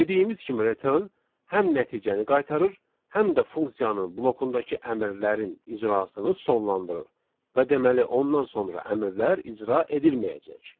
Dediyimiz kimi return həm nəticəni qaytarır, həm də funksiyanın blokundakı əmrlərin icrasını sonlandırır və deməli ondan sonra əmrlər icra edilməyəcək.